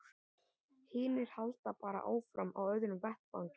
Hinir halda bara áfram á öðrum vettvangi.